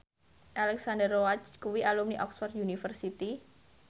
Alexandra Roach kuwi alumni Oxford university